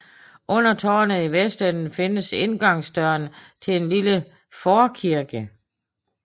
Under tårnet i vestenden findes indgangsdøren til en lille forkirke